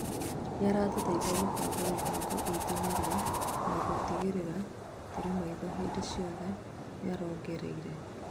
nĩratũteĩthia kũbanga mĩbango itũ narua na gũtigĩrĩra tũrĩ maitho hĩndĩ cĩothe niarongereire